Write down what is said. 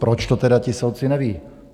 Proč to tedy ti soudci nevědí?